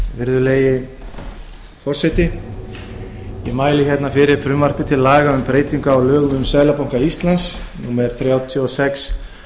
virðulegi forseti ég mæli fyrir frumvarpi til laga um breytingu á lögum um seðlabanka íslands númer þrjátíu og sex